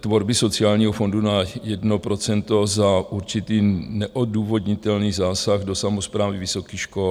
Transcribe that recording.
tvorby sociálního fondu na 1 % za určitý neodůvodnitelný zásah do samosprávy vysokých škol.